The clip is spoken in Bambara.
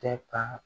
Tɛ ka